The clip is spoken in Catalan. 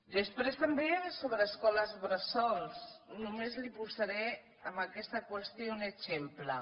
després també sobre escoles bressol només li posaré en aquesta qüestió un exemple